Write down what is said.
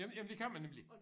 Jamen jamen det kan man nemlig